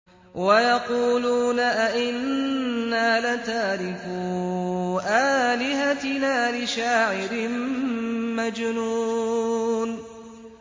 وَيَقُولُونَ أَئِنَّا لَتَارِكُو آلِهَتِنَا لِشَاعِرٍ مَّجْنُونٍ